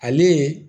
Ale